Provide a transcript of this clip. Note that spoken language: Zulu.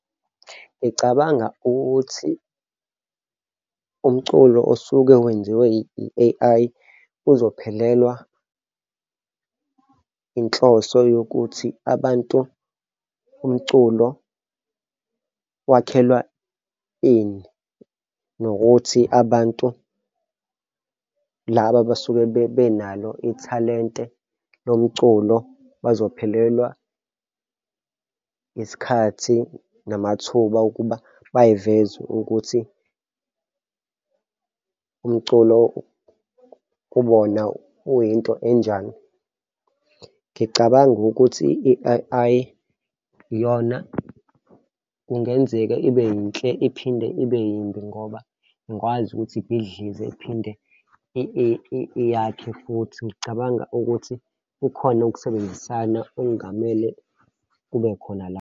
Ngicabanga ukuthi umculo osuke wenziwe i-A_I uzophelelwa inhloso yokuthi abantu umculo wakhelwa ini? Nokuthi abantu laba abasuke benalo ithalente lomculo bazophelelwa isikhathi namathuba okuba bay'veze ukuthi umculo kubona uyinto enjani? Ngicabanga ukuthi i-A_I iyona kungenzeka ibe yinhle iphinde ibe yimbi ngoba ingakwazi ukuthi ibhidlizwe iphinde yakhe futhi ngicabanga ukuthi kukhona ukusebenzisana okungamele kube khona la.